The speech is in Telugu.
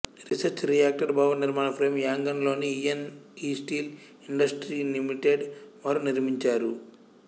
రీసెర్చ్ రియాక్టర్ భవననిర్మాణ ఫ్రేం యాంగాన్ లోని E N E steel industry limited వారు నిర్మించారు